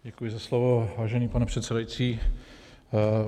Děkuji za slovo, vážený pane předsedající.